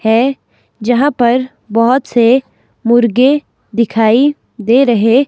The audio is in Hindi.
है जहां पर बहोत से मुर्गे दिखाई दे रहे--